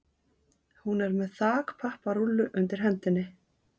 Hún er með þakpapparúllu undir hendinni.